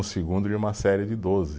Segundo de uma série de doze.